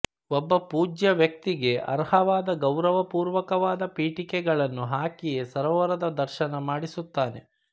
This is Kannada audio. ಒಬ್ಬ ಪೂಜ್ಯ ವ್ಯಕ್ತಿಗೆ ಅರ್ಹವಾದ ಗೌರವಪೂರ್ವಕವಾದ ಪೀಠಿಕೆಗಳನ್ನು ಹಾಕಿಯೇ ಸರೋವರದ ದರ್ಶನ ಮಾಡಿಸುತ್ತಾನೆ